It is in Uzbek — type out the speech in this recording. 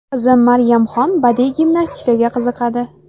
Qizim Maryamxon badiiy gimnastikaga qiziqadi.